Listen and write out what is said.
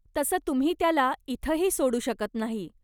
तसं तुम्ही त्याला इथंही सोडू शकत नाही.